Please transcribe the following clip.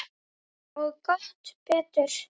Og gott betur.